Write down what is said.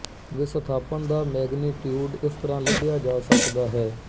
ਵਿਸਥਾਪਣ ਦਾ ਮੈਗਨੀਟੀਉਡ ਇਸ ਤਰਾਂ ਲੱਭਿਆ ਜਾ ਸਕਦਾ ਹੈ